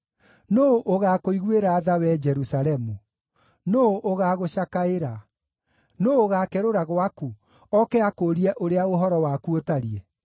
“Nũũ ũgaakũiguĩra tha, wee Jerusalemu? Nũũ ũgaagũcakaĩra? Nũũ ũgaakerũra gwaku oke akũũrie ũrĩa ũhoro waku ũtariĩ?”